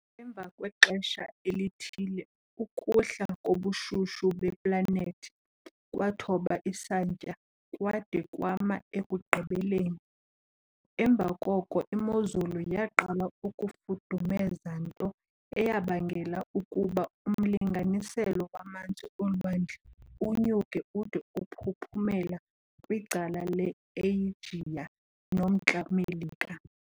Emva kwexesha elithile ukuhla kobushushu beplanethi kwathoba isantya kwade kwama ekugqibeleni. Emva koko imozulu yaqala ukufudumeza nto eyabangela ukuba umlinganiselo wamanzi olwandle unyuke ude uphuphumela kwicala le Eyijiya noMntla-Melika.